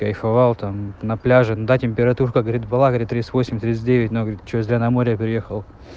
кайфовал там на пляже да температурка говорил была тридцать восемь тридцать девять но чё я зря на море приехал